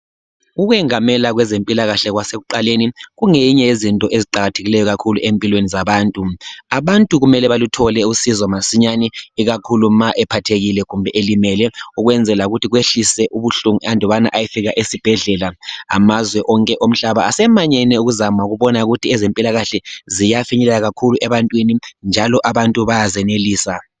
Ukwengamela kwezempilakahle kwasekuqaleni kungenye yezinto eziqakathekileyo empilweni zabantu. Abantu kumele baluthole usizo masinyane ikakhulu umuntu ma ephathekile kumbe elimele ukwezela ukuthi kwehlise ubuhlungu andubana bayefika esibhedlela. Amazwe onke omhlaba asemanyene ukuzama ukubona ukuthi yezempilakahle ziyafinyelela kakhulu ebantwini njalo abantu bayazenelisa.